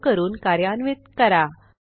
save करून कार्यान्वित करा